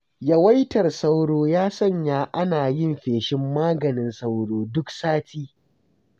Yawaitar sauro ya sanya ana yin feshin maganin sauro duk sati.